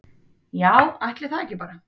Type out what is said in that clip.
Já, ætli það ekki bara